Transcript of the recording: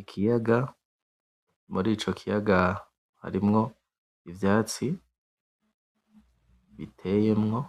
Ikiyaga, muri ico kiyaga harimwo ivyatsi biteyemwo